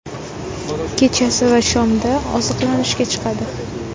Kechasi va shomda oziqlanishga chiqadi.